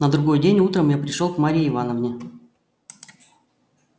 на другой день утром я пришёл к марье ивановне